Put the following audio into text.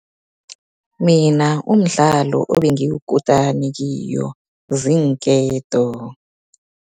Mina umdlalo ebengiyikutani kiyo ziinketo.